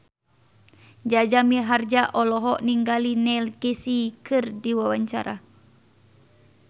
Jaja Mihardja olohok ningali Neil Casey keur diwawancara